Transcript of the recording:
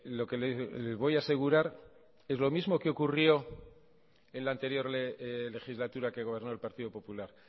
lo que le voy a asegurar es lo mismo que ocurrió en la anterior legislatura que gobernó el partido popular